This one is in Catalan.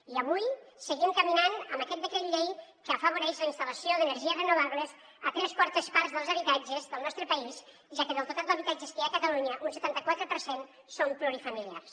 i avui seguim caminant amb aquest decret llei que afavoreix la instal·lació d’energies renovables a tres quartes parts dels habitatges del nostre país ja que del total d’habitatges que hi ha a catalunya un setanta quatre per cent són plurifamiliars